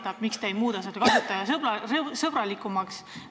Ta küsib, miks te ei muuda seda kasutajasõbralikumaks.